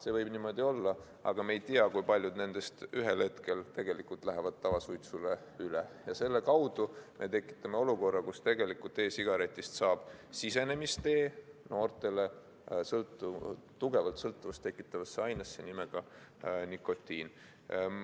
See võib niimoodi olla, aga me ei tea, kui paljud nendest ühel hetkel lähevad tavasuitsule üle ja selle kaudu me tekitame olukorra, kus e-sigaretist saab sisenemistee noortele tugevalt sõltuvust tekitavasse ainesse nimega nikotiin.